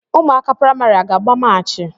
Ụmụaka praịmarị a ga-agba maachi?